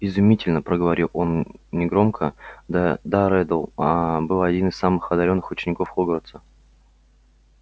изумительно проговорил он негромко да да реддл аа был один из самых одарённых учеников хогвартса